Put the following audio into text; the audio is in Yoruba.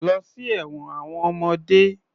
Lọ sí ẹ̀wọn àwọn ọmọdé.